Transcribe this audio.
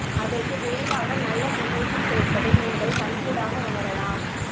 அதற்கு விரைவாக நல்ல முன்னேற்றம் கிடைப்பதை நீங்கள் கண்கூடாக உணரலாம்